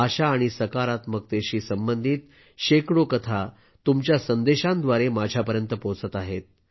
आशा आणि सकारात्मकतेशी संबंधित शेकडो कथा तुमच्या संदेशांद्वारे माझ्यापर्यंत पोहोचत आहेत